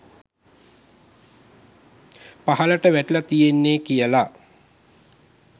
පහලට වැටිලා තියෙන්නේ කියල.